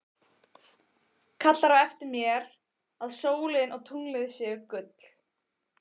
Kallar á eftir mér að sólin og tunglið séu gull.